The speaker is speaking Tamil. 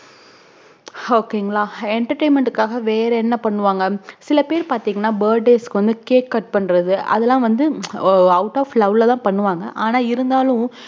ok ங்களா entertainment க்கு வேற என்ன வன்னுவாங்கசில பேர் வந்து burday க்கு cakecut பண்றது அத்தளம் வந்து out of love அஹ் பண்ணுவாங்க ஆனா இருந்தாலும்